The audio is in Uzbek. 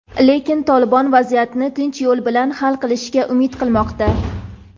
lekin "Tolibon" vaziyatni tinch yo‘l bilan hal qilishga umid qilmoqda.